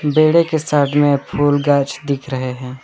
बेड़े के साथ में फूल गांछ दिख रहे हैं।